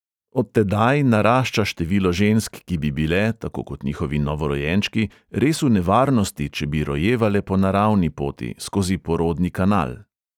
Od tedaj narašča število žensk, ki bi bile, tako kot njihovi novorojenčki, res v nevarnosti, če bi rojevale po naravni poti, skozi porodni kanal.